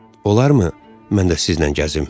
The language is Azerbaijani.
Olarmı mən də sizlə gəzim?